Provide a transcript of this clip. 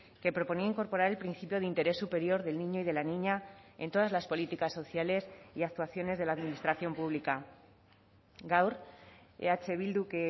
que proponía incorporar el principio de interés superior del niño y de la niña en todas las políticas sociales y actuaciones de la administración pública gaur eh bilduk